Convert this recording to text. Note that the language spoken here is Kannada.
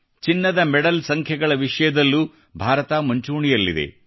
ಚಿನ್ನದ ಮೆಡಲ್ ಸಂಖ್ಯೆಗಳ ವಿಷಯದಲ್ಲೂ ಭಾರತ ಮುಂಚೂಣಿಯಲ್ಲಿದೆ